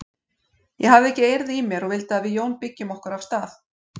Ég hafði ekki eirð í mér og vildi að við Jón byggjum okkur af stað.